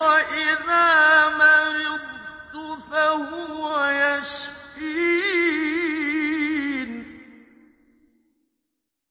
وَإِذَا مَرِضْتُ فَهُوَ يَشْفِينِ